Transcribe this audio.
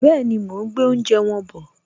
Bẹ́ẹ̀ni, mo ún gbé oúnjẹ wọn bọ̀